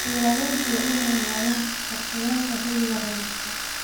Beeralayda waa inay ogaadaan qorshayaasha xilli-roobaadka.